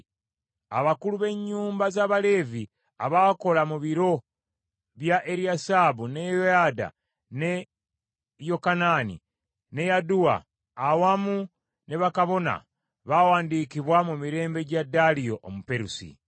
Abakulu b’ennyumba z’Abaleevi abaakola mu biro bya Eriyasibu, ne Yoyada, ne Yokanaani ne Yadduwa, awamu ne bakabona, baawandiikibwa mu mirembe gya Daliyo Omuperusi.